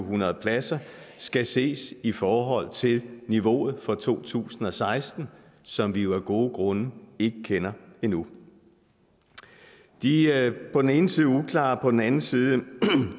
hundrede pladser skal ses i forhold til niveauet for to tusind og seksten som vi jo af gode grunde ikke kender endnu de på den ene side uklare og på den anden side